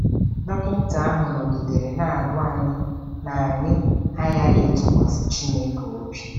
Dọkịta ahụ nọgidere na-agwa anyị na anyị aghaghị ịtụkwasị Chineke obi